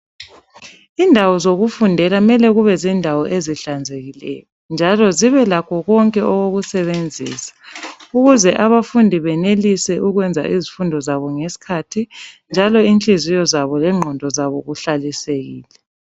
Indawo zokufundela kumele kube zindawo ezihlanzekileyo njalo zibelakho konke okokusebenzisa ukuze abafundi benelise ukwenza izifundo zabo ngesikhathi njalo inhliziyo zabo lengqondo zabo kuhlalisekile.